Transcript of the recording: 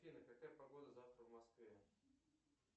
афина какая погода завтра в москве